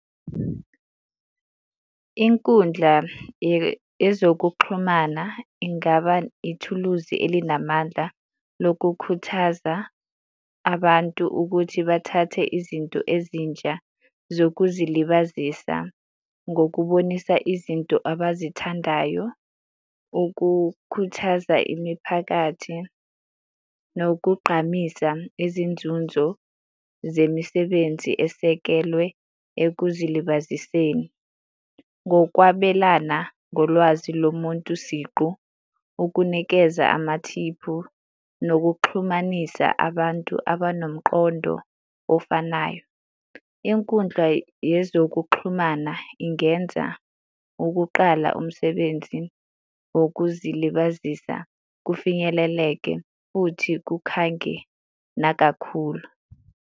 Inkundla yezokuxhumana ingaba ithuluzi elinamandla lokukhuthaza abantu ukuthi bathathe izinto ezintsha zokuzilibazisa ngokubonisa izinto abazithandayo. Ukukhuthaza imiphakathi nokugqamisa izinzunzo zemisebenzi esekelwe ekuzilibaziseni. Ngokwabelana ngolwazi lomuntu siqu, ukunikeza amathiphu, nokuxhumanisa abantu abanomqondo ofanayo. Inkundla yezokuxhumana ingenza ukuqala umsebenzi wokuzilibazisa kufinyeleleke futhi kukhange nakakhulu.